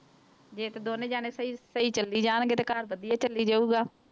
ਜੇ ਤੇ ਦੋਨੇਂ ਜਾਣੇ ਸਹੀ ਸਹੀ ਚੱਲੀ ਜਾਣਗੇ ਤੇ ਘਰ ਵਧੀਆ ਚੱਲੀ ਜਾਊਗਾ।